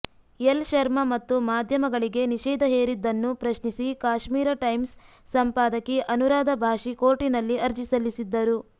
L Sharma ಮತ್ತು ಮಾಧ್ಯಮಗಳಿಗೆ ನಿಷೇಧ ಹೇರಿದ್ದನ್ನು ಪ್ರಶ್ನಿಸಿ ಕಾಶ್ಮೀರ್ ಟೈಮ್ಸ್ ಸಂಪಾದಕಿ ಅನುರಾಧ ಭಾಸಿ ಕೋರ್ಟಿನಲ್ಲಿ ಅರ್ಜಿ ಸಲ್ಲಿಸಿದ್ದರು